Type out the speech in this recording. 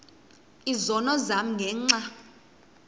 izono zam ngenxa